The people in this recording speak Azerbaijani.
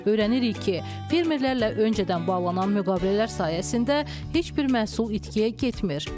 Öyrənirik ki, fermerlərlə öncədən bağlanan müqavilələr sayəsində heç bir məhsul itkiyə getmir.